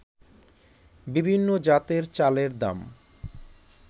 বিভিন্ন জাতের চালের দাম